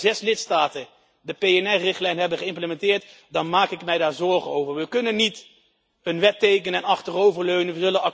Als ik zie dat maar zes lidstaten de PNR richtlijn hebben geïmplementeerd, dan maak ik mij daar zorgen over. We kunnen niet een wet tekenen en achterover leunen.